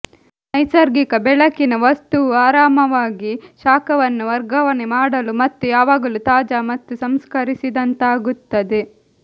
ನೈಸರ್ಗಿಕ ಬೆಳಕಿನ ವಸ್ತುವು ಆರಾಮವಾಗಿ ಶಾಖವನ್ನು ವರ್ಗಾವಣೆ ಮಾಡಲು ಮತ್ತು ಯಾವಾಗಲೂ ತಾಜಾ ಮತ್ತು ಸಂಸ್ಕರಿಸಿದಂತಾಗುತ್ತದೆ